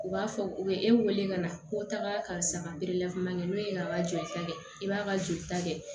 U b'a fɔ u bɛ e wele ka na ko taaga karisa perepelefomani n'o ye a ka jolita kɛ i b'a ka joli ta kɛ